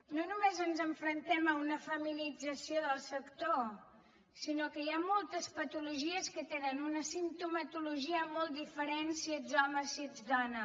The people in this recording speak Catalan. no només ens enfrontem a una feminització del sector sinó que hi ha moltes patologies que tenen una simptomatologia molt diferent si ets home si ets dona